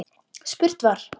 Spurt var